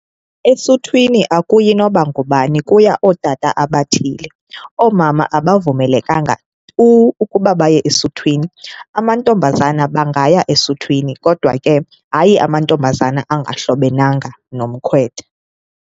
Esuthwini akuyi noba ngubani kuya ootata abathile, oomama abavumelekanga tu ukuba baye esuthwini. Amantombazana bangaya esuthwini kodwa ke hayi amantombazana angahlobenanga nomkhwetha.